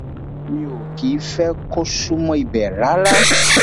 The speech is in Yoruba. mi ò kì í fẹ kó súnmọ ibẹ rárá